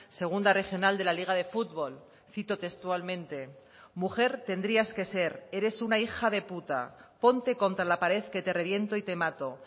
segunda regional de la liga de fútbol cito textualmente mujer tendrías que ser eres una hija de puta ponte contra la pared que te reviento y te mato